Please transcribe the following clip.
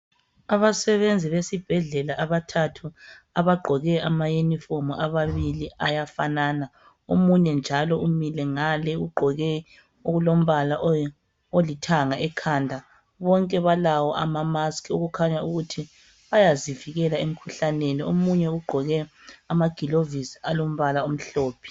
Abasebenzi besibhedlela abathathu abagqoke amayunifomu. Ababili ayafanana, omunye njalo umile ngale ugqoke okulombala olithanga ekhanda bonke balawo amamask okukhanya ukuthi bayazivikela emkhuhlaneni. Omunye ugqoke amagilovisi alombala omhlophe.